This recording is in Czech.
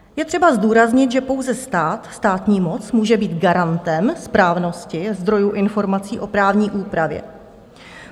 Je třeba zdůraznit, že pouze stát, státní moc může být garantem správnosti zdrojů informací o právní úpravě.